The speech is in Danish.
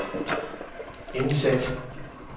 indsæt